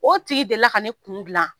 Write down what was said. O tigi delila ka ne kun dilan